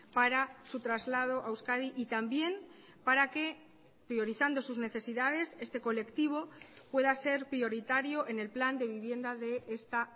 para su traslado a euskadi y también para que priorizando sus necesidades este colectivo pueda ser prioritario en el plan de vivienda de esta